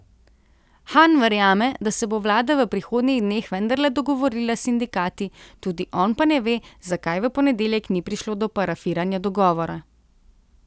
Han verjame, da se bo vlada v prihodnji dneh vendarle dogovorila s sindikati, tudi on pa ne ve, zakaj v ponedeljek ni prišlo do parafiranja dogovora.